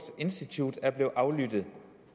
institute er blevet aflyttet